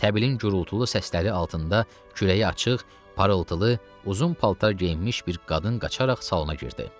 Təbilin gurultulu səsləri altında kürəyi açıq, parıltılı, uzun paltar geyinmiş bir qadın qaçaraq salona girdi.